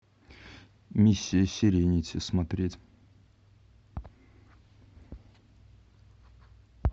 миссия серенити смотреть